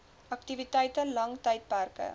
aktiwiteite lang tydperke